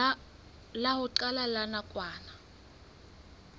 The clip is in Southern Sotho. la ho qala la nakwana